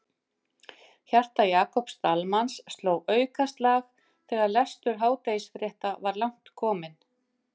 Hjarta Jakobs Dalmanns sló aukaslag þegar lestur hádegisfrétta var langt kominn.